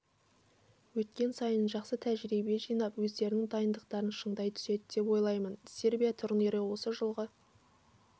өткен сайын жақсы тәжірибе жинап өздерінің дайындықтарын шыңдай түседі деп ойлаймын сербия турнирі осы жылғы